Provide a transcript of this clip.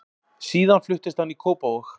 Síðan fluttist hann í Kópavog.